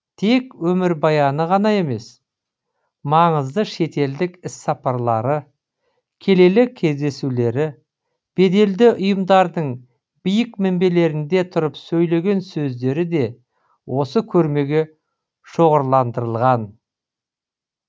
тек өмірбаяны ғана емес маңызды шетелдік іссапарлары келелі кездесулері беделді ұйымдардың биік мінбелерінде тұрып сөйлеген сөздері де осы көрмеге шоғырландырылған